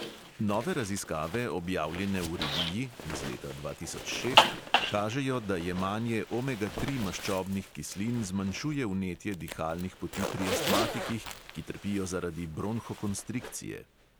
Nove raziskave, objavljene v reviji (iz leta dva tisoč šest), kažejo, da jemanje omega tri maščobnih kislin zmanjšuje vnetje dihalnih poti pri astmatikih, ki trpijo zaradi bronhokonstrikcije.